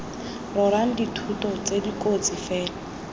rorang dithoto tse dikotsi fela